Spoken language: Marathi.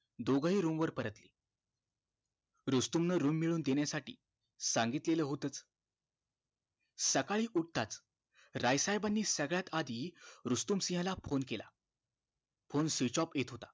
दोघही room वर परतले रुस्तम न room मिळवून देण्यासाठी सांगितलेलं होतच सकाळी उठताच राय साहेबानी सगळ्यात आधी रुस्तुम सिंह ला phone केला phone switch off येत होता